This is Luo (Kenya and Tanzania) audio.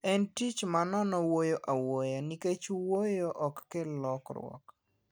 En tich ma nono wuoyo a wuoya ,nikech wuoyo ok kel lokruok